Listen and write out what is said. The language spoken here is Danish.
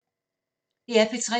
DR P3